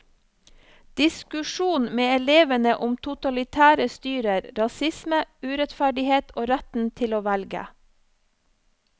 Diskusjon med elevene om totalitære styrer, rasisme, urettferdighet og retten til å velge.